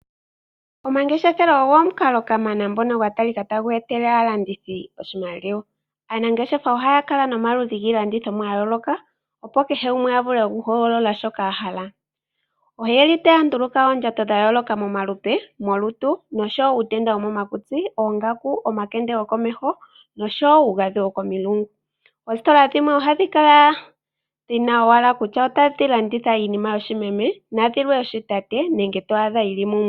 Omangeshefelo ogo omukalo kamana ngono gwa talika tagu etele aalandithi oshimaliwa. Aanangeshefa ohaya kala nomaludhi giilandithomwa ya yooloka opo kehe gumwe a vule okuhogolola shoka ahala. Oyeli taya nduluka oondjato dha yooloka momalupe , molutu, uutenda wokomakutsi, oongaku , omakende gokomeho nosho wo uugadhi wokomulungu. Oositola dhimwe ohadhi kala owala dhina kutya otadhi landitha owala iinima yoshimeme nadhilwe yoshitate nenge to adha yi li mumwe.